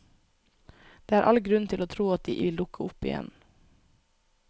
Det er all grunn til å tro at de vil dukke opp igjen.